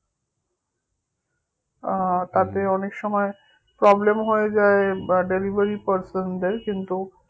আহ অনেক সময় problem হয়ে যায় বা delivery person দেড় কিন্তু